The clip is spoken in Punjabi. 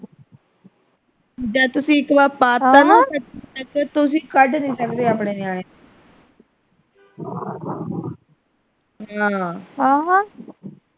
ਜਦ ਤੁਸੀਂ ਇੱਕਵਾਰ ਪਾ ਤਾ ਨਾ ਤੁਸੀਂ ਕੱਢ ਨਹੀਂ ਸਕਦੇ ਆਪਣੇ ਨਿਆਣੇ ਨੂੰ ਹਾਂ ਆਹ